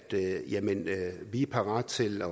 vi er parat til